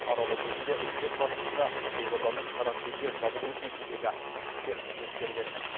аралау кезінде үкімет басшысына елорданың карантинге жабылуы кезіндегі ішкі істер қызметкерлерінің